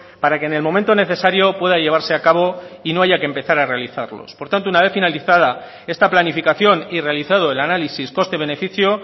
para que en el momento necesario pueda llevarse a cabo y no haya que empezar a realizarlos por tanto una vez finalizada esta planificación y realizado el análisis coste beneficio